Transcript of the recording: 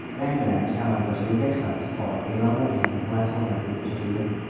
Yangilanish amalga oshirilgach, barcha faol e’lonlar yangi platformaga ko‘chirildi.